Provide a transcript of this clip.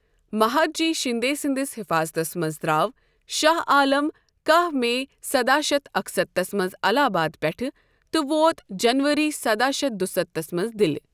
مہدجی شندے سٕنٛدِس حفاضتس منز در٘او شاہ آلَم کَہہ میی سداہ شتھ اکہِ ستتھس منٛز الہ آباد پٮ۪ٹھٕ تہٕ ووت جنؤری سداہ شتھ دُستتھس منٛز دِلہِ۔